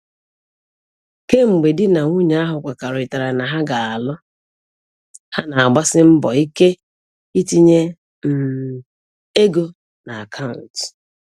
Kemgbe di na nwunye ahụ kwekọrịtara na ha ga-alụ, ha na-agbasi mbọ ike itinye um ego na akaụntụ